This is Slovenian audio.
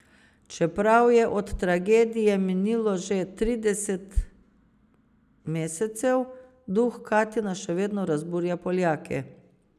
Čeprav je od tragedije minilo že trideset mesecev, duh Katina še vedno razburja Poljake.